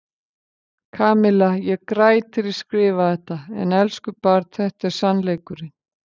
Kamilla, ég græt þegar ég skrifa þetta en elsku barn þetta er sannleikurinn.